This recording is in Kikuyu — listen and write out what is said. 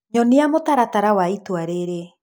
nyonia mũtaratara wa itũra rĩrĩ